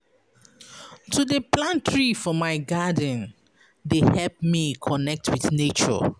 To dey plant tree for my garden dey help me connect wit nature.